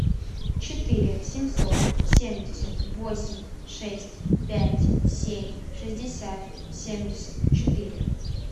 четыре семьсот семьдесят восемь шесть пять семь шестьдесят семьдесят четыре